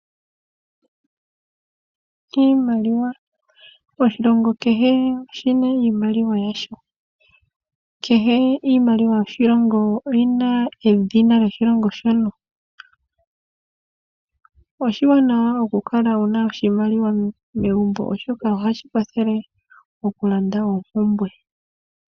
Iimaliwa Oshilongo Kehe oshi na iimaliwa yasho . Kehe iimaliwa yoshilongo oyi na edhina lyoshilongo shono. Oshiwanawa okukala wu na iimaliwa megumbo, oshoka ohashi kwathele okulanda oompumbwe.